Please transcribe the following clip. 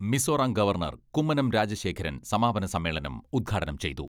Mizoram governor Kummanam Rajasekharan സമാപന സമ്മേളനം ഉദ്ഘാടനം ചെയ്തു.